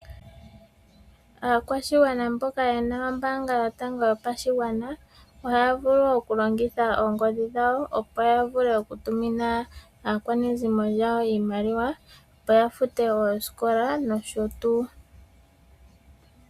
Aakwashigwana mboka ye na ombaanga yotango yopashigwana ohaya vulu okulongitha oongodhi dhawo opo ya vule okutumina aakwanezimo lyawo iimaliwa opo ya fute ooskola nosho tuu.